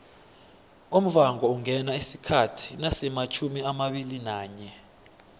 umvhangoungena isikhathi nasimatjhumiamabili nanye